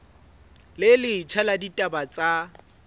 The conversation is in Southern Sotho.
le letjha la ditaba tsa